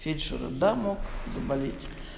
фельдшера да мог заболеть